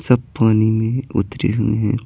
सब पानी में उतरे हुए हैं।